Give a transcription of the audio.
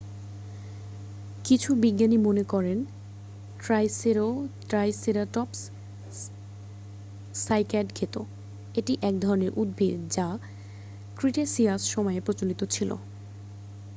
কিছু বিজ্ঞানী মনে করেন ট্রাইসেরাটপস সাইক্যাড খেত এটি এক ধরণের উদ্ভিদ যা ক্রিটেসিয়াস সময়ে প্রচলিত ছিল